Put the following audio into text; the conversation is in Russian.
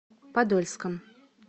подольском